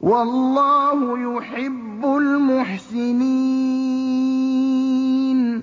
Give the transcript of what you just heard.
وَاللَّهُ يُحِبُّ الْمُحْسِنِينَ